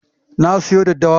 Na siyo daddawa.